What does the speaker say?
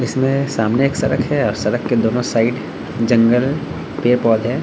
इसमें सामने एक सड़क है और सड़क के दोनों साइड जंगल पेड़-पौधे --